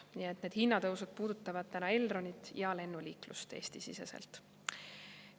Nii et need hinnatõusud puudutavad praegu Elronit ja Eesti-sisest lennuliiklust.